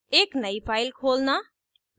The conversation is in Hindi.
एक नयी file खोलना